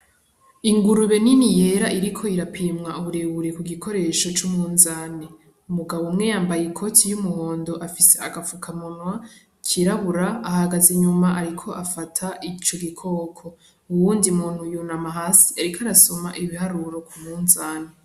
Ingurubu niniya yera Iriko irapimwa uburebure kugikoresho c'umwuzane, umugabo umwe yambaye ikoti y'umuhondo afise agafuka munwa kirabura, ahagaze inyuma Ariko afata ico gikoko , uwundi muntu yunama hasi Ariko arasoma ibiharuro k'umunzane.